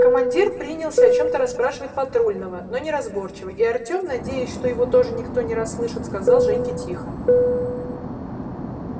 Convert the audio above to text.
командир принялся о чем-то расспрашивать патрульного но неразборчиво и артём надеясь что его тоже никто не расслышит сказал женьке тихо